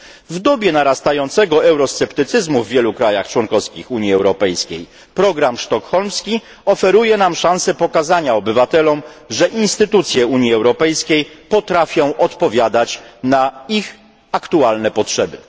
W dobie narastającego eurosceptycyzmu w wielu krajach członkowskich Unii Europejskiej program sztokholmski oferuje nam szansę pokazania obywatelom, że instytucje Unii Europejskiej potrafią odpowiadać na ich aktualne potrzeby.